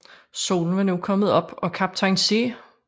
Solen var nu kommet op og kaptajn C